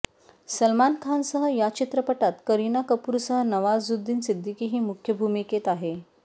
सलमान खानसह या चित्रपटात करीना कपूरसह नवाजुद्दीन सिद्दीकीही मुख्य भूमिकेत आहे